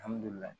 Alihamudulila